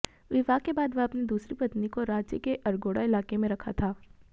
विवाह के बाद वह अपनी दूसरी पत्नी को रांची के अरगोड़ा इलाके में रखा था